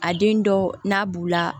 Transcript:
A den dɔ n'a b'u la